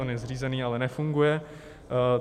On je zřízený, ale nefunguje.